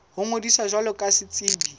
ho ngodisa jwalo ka setsebi